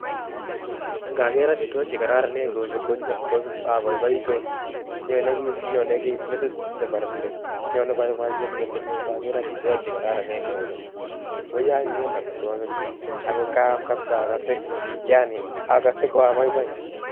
Ngager amitwogik che kararanen cheuchu aboiboitu. Nyone kiy, nyone kiy metit nebore nding! Nyone boiboiyet metit nyuu ngager amitwogik che kararanen kouni. Woiye anyinyen amitwogik chu, ago ng'aam kapsaa akase, yaani akase ko abaibai